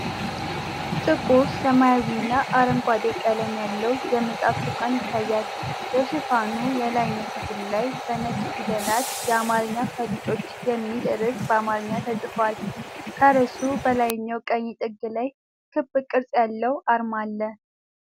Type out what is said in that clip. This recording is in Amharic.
ጥቁር ሰማያዊና አረንጓዴ ቀለም ያለው የመጽሐፍ ሽፋን ይታያል። የሽፋኑ የላይኛው ክፍል ላይ በነጭ ፊደላት “የአማርኛ ፈሊጦች” የሚል ርዕስ በአማርኛ ተጽፏል። ከርዕሱ በላይኛው ቀኝ ጥግ ላይ ክብ ቅርጽ ያለው አርማ አለ።